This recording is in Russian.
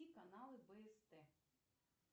каналы бст